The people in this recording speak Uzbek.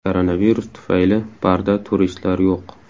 Koronavirus tufayli barda turistlar yo‘q.